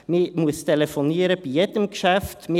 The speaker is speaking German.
Man muss bei jedem Geschäft telefonieren.